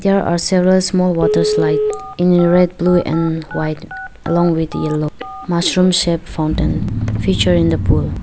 there are several small water slide in red blue and white along with yellow mushroom shed found in featuring the pool.